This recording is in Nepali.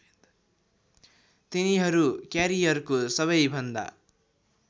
तिनीहरू क्यारियरको सबैभन्दा